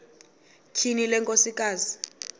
tyhini le nkosikazi